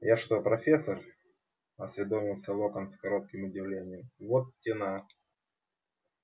я что профессор осведомился локонс с кротким удивлением вот те на